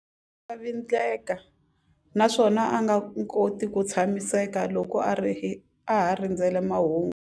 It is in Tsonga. Vindlavindleka naswona a nga koti ku tshamiseka loko a ha rindzerile mahungu.